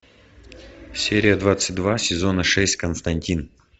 серия двадцать два сезона шесть константин